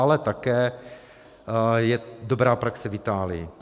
Ale také je dobrá praxe v Itálii.